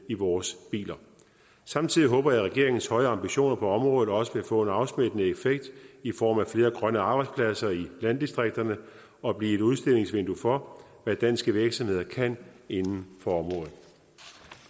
i vores biler samtidig håber jeg at regeringens høje ambitioner på området også vil få en afsmittende effekt i form af flere grønne arbejdspladser i landdistrikterne og blive et udstillingsvindue for hvad danske virksomheder kan inden for området